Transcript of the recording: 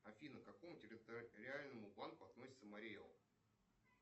афина к какому территориальному банку относится марий эл